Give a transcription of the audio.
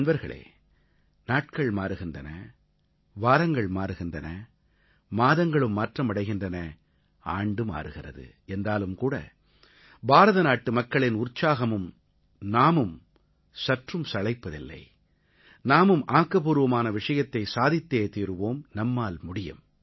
நண்பர்களே நாட்கள் மாறுகின்றன வாரங்கள் மாறுகின்றன மாதங்களும் மாற்றம் அடைகின்றன ஆண்டு மாறுகிறது என்றாலும்கூட பாரதநாட்டு மக்களின் உற்சாகமும் நாமும் சற்றும் சளைப்பதில்லை நாமும் ஆக்கப்பூர்வமான விஷயத்தைச் சாதித்தே தீருவோம் நம்மால் முடியும்